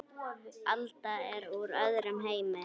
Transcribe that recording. Alda er úr öðrum heimi.